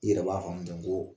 I yɛrɛ b'a faamu ten ko